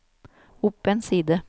opp en side